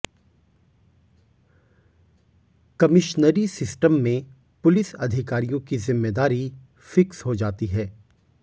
कमिश्नरी system में पुलिस अधिकारियों की जिम्मेदारी फिक्स हो जाती है